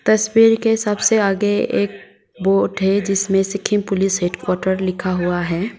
तस्वीर के सबसे आगे एक बोर्ड है जिसमें सिक्किम पुलिस हैडक्वाटर लिखा हुआ है।